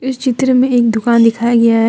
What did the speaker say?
इस चित्र में एक दुकान दिखाया गया है।